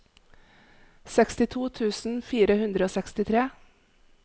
sekstito tusen fire hundre og sekstitre